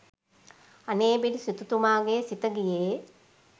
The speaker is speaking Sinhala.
අනේපිඬු සිටුතුමාගේ සිත ගියේ